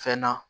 Fɛn na